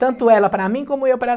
Tanto ela para mim, como eu para